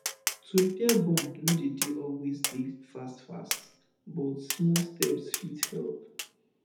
to repair bond no de de always dey fast fast but smal steps fit help